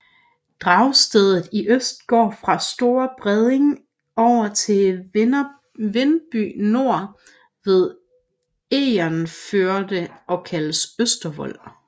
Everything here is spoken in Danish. Dragstedet i øst går fra fra Store Bredning over til Vindeby Nor ved Egernførde og kaldes Østervold